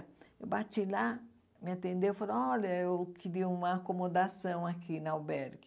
Eu bati lá, me atendeu e falou, olha, eu queria uma acomodação aqui no albergue.